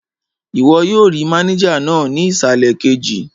Ìwọ yóò rí mánéjà náà ní ìsàlẹ̀ kejì